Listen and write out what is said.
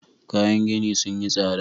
Kayan gini sun yi tsada.